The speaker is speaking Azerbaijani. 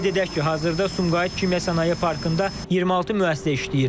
Qeyd edək ki, hazırda Sumqayıt Kimya Sənaye Parkında 26 müəssisə işləyir.